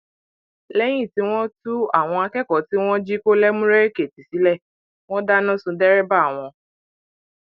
lẹyìn tí wọn tú àwọn akẹkọọ tí wọn jí kó lẹmúrèèkìtì sílẹ sílẹ wọn dáná sun dẹrẹbà wọn